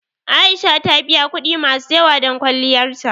A'isha ta biya kuɗi masu yawa don kwalliyar ta.